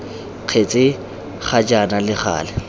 kgetse ga jaana le gale